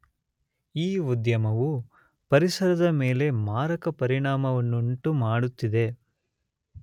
ಈ ಉದ್ಯಮವು ಪರಿಸರದ ಮೇಲೆ ಮಾರಕ ಪರಿಣಾಮವನ್ನುಂಟು ಮಾಡುತಿದೆ.